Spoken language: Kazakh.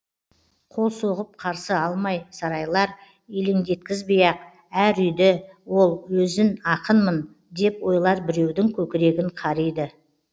қол соғып қарсы алмай сарайлар елеңдеткізбей ақ әр үйді ол өзін ақынмын деп ойлар біреудің көкірегін қариды